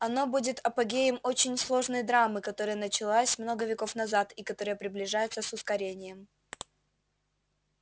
оно будет апогеем очень сложной драмы которая началась много веков назад и которая приближается с ускорением